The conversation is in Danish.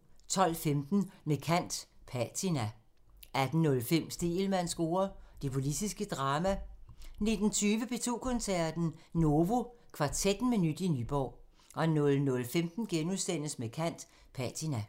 12:15: Med kant – Patina 18:05: Stegelmanns score: Det politiske drama 19:20: P2 Koncerten – Novo Kvartetten med nyt i Nyborg 00:15: Med kant – Patina *